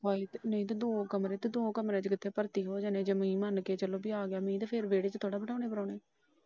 ਨਹੀਂ ਤੇ ਦੋ ਕਮਰੇ ਨੇ ਦੋ ਕਮਰਿਆਂ ਚ ਕਿੱਥੇ ਭਰਤੀ ਹੋ ਜਾਣੇ ਨੇ ਤੁਸੀਂ ਇਹ ਮਨ ਕੇ ਚਲੋ ਫਿਰ ਵੇਹੜੇ ਚ ਥੋੜਾ ਬਿਠਾਣੇ ਪ੍ਰਾਹੁਣੇ।